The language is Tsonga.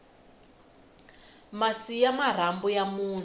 masi ya marhambu ya munhu